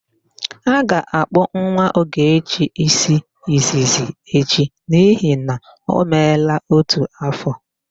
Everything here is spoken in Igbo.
A ga-akpụ nwa Ọgọchi ísí izizi echi n'ihi na o meela ótù áfọ̀.